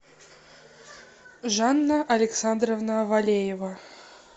жанна александровна валеева